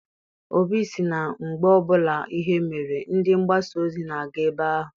Obi sị na mgbbe ọbụla ihe mere, ndị mgbasa ozi na-aga ebe ahụ.